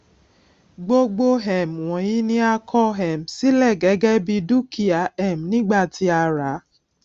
gbogbo um wọnyí ni a kọ um sílẹ gẹgẹ bí dúkìá um nígbà tí a ràá